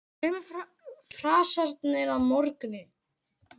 Sömu frasarnir að morgni.